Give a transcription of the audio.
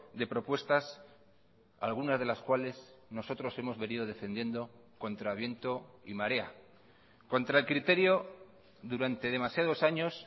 de propuestas algunas de las cuales nosotros hemos venido defendiendo contra viento y marea contra el criterio durante demasiados años